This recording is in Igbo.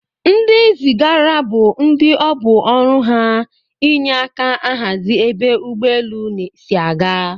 Ndi zigara bu ndi ọbụ ọrụ ha enye aka ahazi ebe ụgbọ elụ si aga.